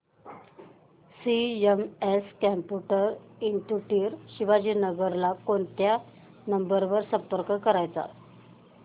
CMS computer institute Shivajinagar ला कोणत्या number वर संपर्क करायचा